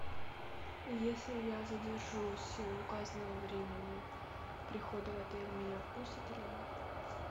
если я задержусь указанного времени прихода в отель меня впустят или нет